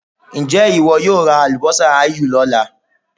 Ǹjẹ́ ìwọ yóò ra àlùbọ́sà áyù lọ́la?